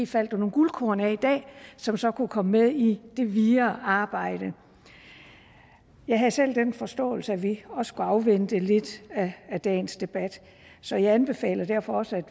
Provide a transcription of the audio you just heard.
falde nogle guldkorn af i dag som så kunne komme med i det videre arbejde jeg havde selv den forståelse at vi også skulle afvente lidt af dagens debat så jeg anbefaler derfor også